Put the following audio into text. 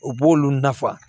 O b'olu nafa